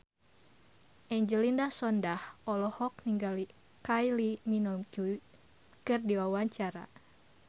Angelina Sondakh olohok ningali Kylie Minogue keur diwawancara